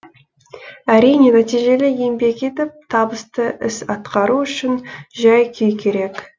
әрине нәтижелі еңбек етіп табысты іс атқару үшін жай күй керек